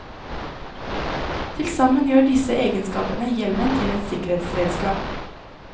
Til sammen gjør disse egenskapene hjelmen til et sikkerhetsredskap.